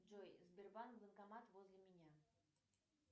джой сбербанк банкомат возле меня